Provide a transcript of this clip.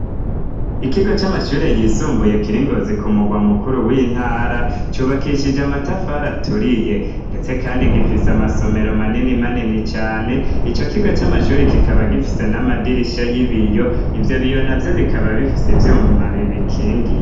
Ikigo c'amashuri yisumbuye kiringozi ku mugwa mukuru w'intara cubakishije amatafara aturiye, ndetse, kandi gifise amasomero manini manini cane ico kigo c'amashuri kikaba gifise n'amadirisha y'ibiyo ivyo biyona vyo bikaba bifise ivyuma bibi kingi.